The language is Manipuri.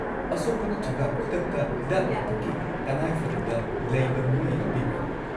ꯑꯁꯣꯛꯄ ꯅꯠꯇ꯭ꯔꯒ ꯈꯨꯗꯛꯇ ꯍꯤꯗꯥꯛ-ꯂꯥꯡꯊꯛꯀꯤ ꯇꯉꯥꯏꯐꯗꯕ ꯂꯩꯕ ꯃꯤꯑꯣꯏ ꯌꯥꯎꯕꯤꯕ꯭ꯔꯥ?